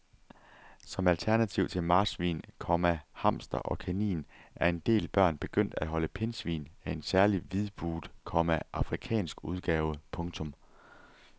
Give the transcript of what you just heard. Som alternativ til marsvin, komma hamster og kanin er en del børn begyndt at holde pindsvin af en særlig hvidbuget, komma afrikansk udgave. punktum